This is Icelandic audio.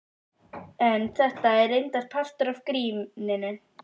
En þetta er reyndar partur af gríninu.